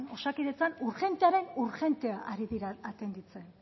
osakidetzan urgentearen urgente ari dira atenditzen